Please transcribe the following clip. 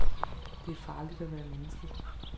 Det er farligt at være menneske.